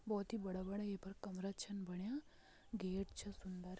बहोत भी बड़ा बड़ा ये पर कमरा छन बणयां गेट छ सुन्दर।